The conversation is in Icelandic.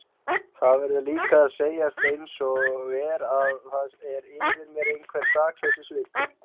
Það verður líka að segjast einsog er að það er yfir mér einhver sakleysissvipur.